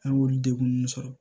An y'olu degun sɔrɔ